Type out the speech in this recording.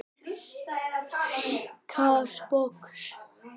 Líka sposk.